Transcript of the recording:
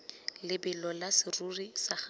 lebelo la serori sa gago